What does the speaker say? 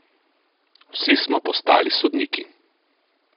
Vsi smo postali sodniki.